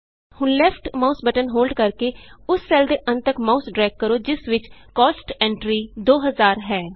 ਹੁਣ left mouse button hold ਕਰਕੇ ਯੂਐਸ ਉਸ ਸੈੱਲ ਦੇ ਅੰਤ ਤਕ ਮਾਊਸ ਡਰੇਗ ਕਰੋ ਜਿਸ ਵਿਚ ਕੋਸਟ ਐਂਟਰੀ 2000 ਹੈ